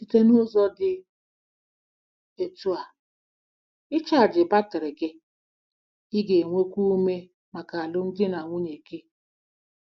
Site n'ụzọ dị otú a "ịchaji batrị gị," ị ga-enwekwu ume maka alụmdi na nwunye gị.